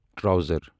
trouser